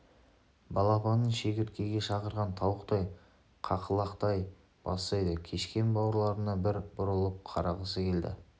балапанын шегірткеге шақырған тауықтай қақылықтай бастайды кешкен бауырларына бір бұрылып қарағысы келді